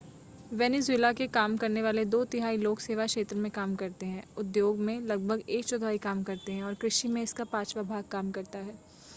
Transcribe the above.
Venezuela के काम करने वाले दो तिहाई लोग सेवा क्षेत्र में काम करते हैं उद्योग में लगभग एक चौथाई काम करते हैं और कृषि में इसका पांचवा भाग काम करता है